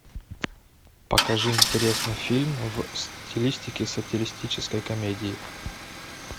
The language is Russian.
покажи интересный фильм в стилистике сатиристической комедии